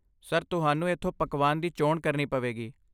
Sir, ਤੁਹਾਨੂੰ ਇੱਥੋਂ ਪਕਵਾਨ ਦੀ ਚੋਣ ਕਰਨੀ ਪਵੇਗੀ।